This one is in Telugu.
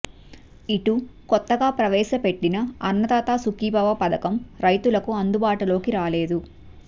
ఇటు కొత్తగా ప్రవేశ పెట్టిన అన్నదాత సుఖీభవ పథకం రైతులకు అందుబాటులోకి రాలేదు